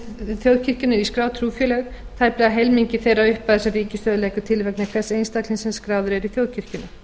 þjóðkirkjunnar í skráð trúfélög tæplega helmingi þeirrar upphæðar sem ríkissjóður leggur til vegna hvers einstaklings sem skráður er í þjóðkirkjuna